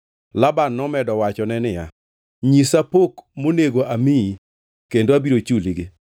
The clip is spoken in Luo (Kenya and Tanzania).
Laban nomedo wachone niya, “Nyisa pok monego amiyi kendo abiro chuligi.”